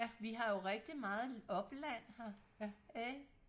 vi har jo rigtig meget opland her ikke